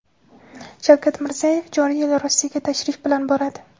Shavkat Mirziyoyev joriy yil Rossiyaga tashrif bilan boradi.